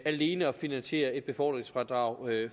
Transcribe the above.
alene at finansiere et befordringsfradrag